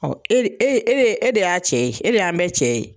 Ɔ e de e e de y'a cɛ ye e de y'an bɛ cɛ ye